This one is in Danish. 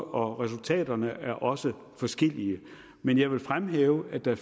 og resultaterne er også forskellige men jeg vil fremhæve at der